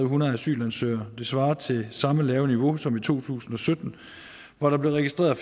hundrede asylansøgere det svarer til samme lave niveau som i to tusind og sytten hvor der blev registreret